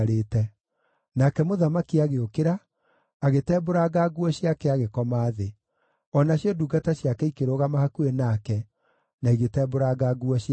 Nake mũthamaki agĩũkĩra, agĩtembũranga nguo ciake, agĩkoma thĩ; o nacio ndungata ciake ikĩrũgama hakuhĩ nake, na igĩtembũranga nguo ciacio.